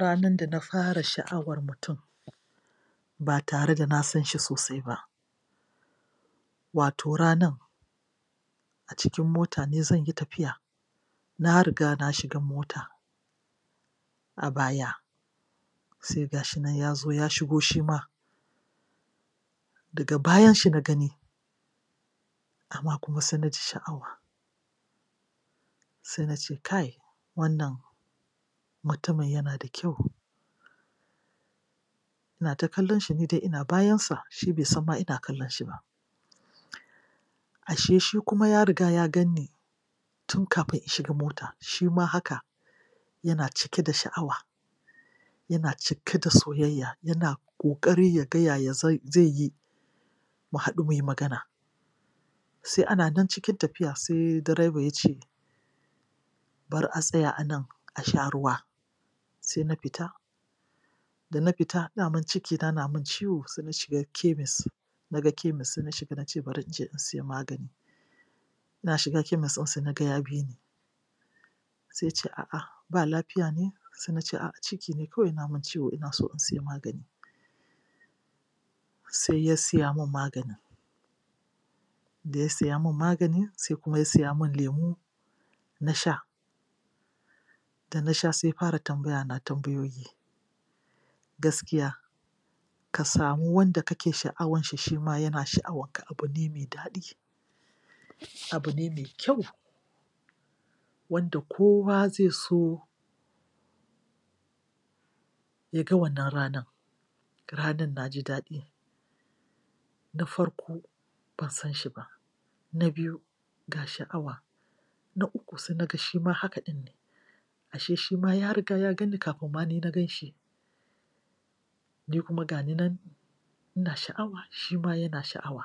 Ranar da na fara sha'awan mutum ba tare da na san shi sosai ba, wato ranan a cikin mota ne zan yi tafiya. Na riga na shiga mota a baya, sai ga shi nan ya shigo shi ma daga bayan shi na gani\ amma kuma sai na ji sha'awa sai na ce: kai! Wannan mutumin yana da kyau. Ina ta kallon shi, ni dai ina bayansa, shi bai san ma ina kallon shi ba. Ashe shi kuma ya riga ya gan ni, tun kafin in shiga mota. Shi ma haka; yana cike da sha'wa yana cike da soyayya; yana ƙoƙari ya ga yaya zai yi mu haɗu mu yi magana. Sai ana nan cikin tafiya sai direba ya ce, bari a tsaya a nan a sha ruwa. Sai na fita Da na fita, daman cikina na min ciwo, sai na shiga kemis. Na ga kemis, sai na shiga na ce bari in shiga in je in sai magani. Ina shiga kemis ɗin sai na ga ya bi ni. Sai ya ce a'a, ba lafiya ne? Sai na ce a'a ciki ne kawai yana min ciwo ina so in sayi magani. Sai ya saya min maganin. Da ya saya min magani sai kuma ya saya min lemo na sha Da na sha sai ya fara tambayana tambayoyi. Gaskiya, ka samu wanda kake sha'awan shi, shi ma yana sha'awanka abu ne mai daɗi, abu ne mai kyau. wanda kowa zai so ya ga wannan ranan. Ranan na ji daɗi Na farko, ban san shi ba. Na biyu, ga sha'wa. Na uku, sai na ga shi ma haka ɗin ne. Ashe shi ma ya riga ya gan ni kafin ma ni na gan shi. Ni kuma ga ni nan ina sha'awa, shi ma yana sha'awa.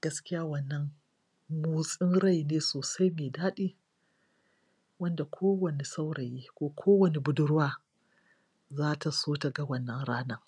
Gaskiya wannan motsin rai ne sosai mai daɗi. wanda kowane saurayi ko kowane budurwa za ta so ta ga wannan ranan.